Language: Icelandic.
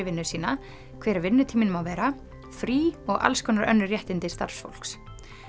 vinnu sína hver vinnutíminn má vera frí og önnur réttindi starfsfólks